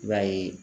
I b'a ye